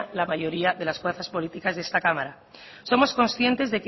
la mayoría de las fuerzas políticas de esta cámara somos conscientes